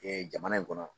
jamana in kɔnɔ